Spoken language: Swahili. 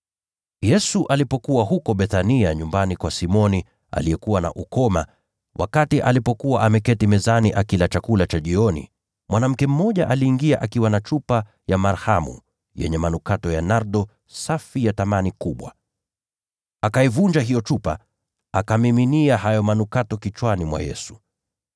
Yesu alikuwa Bethania nyumbani kwa Simoni aliyekuwa na ukoma. Wakati alipokuwa ameketi mezani akila chakula cha jioni, mwanamke mmoja aliingia akiwa na chupa ya marhamu yenye manukato ya nardo safi ya thamani kubwa. Akaivunja hiyo chupa, akamiminia hayo manukato kichwani mwa Yesu.